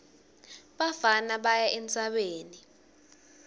bafana baya entsabeni